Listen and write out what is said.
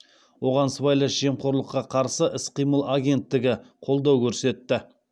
оған сыбайлас жемқорлыққа қарсы іс қимыл агенттігі қолдау көрсетті